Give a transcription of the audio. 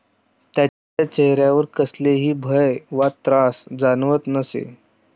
त्यांच्या चेहऱ्यावर कसलेही भय वा त्रास जाणवत नसे.